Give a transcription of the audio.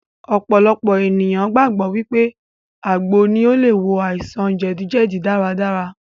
Ọ̀pọ̀lọpọ̀ ènìyàn gbàgbọ́ wípé àgbo ní o le wo àìsàn jẹdíjẹdí dáradára.